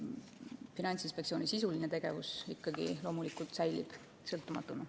Finantsinspektsiooni sisuline tegevus säilib loomulikult sõltumatuna.